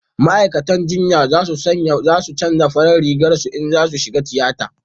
ma'aikatan jinya za su canja farin Rigar su in za su shiga tiyata